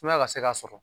Sumaya ka se ka sɔrɔ